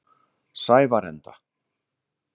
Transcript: Sævarenda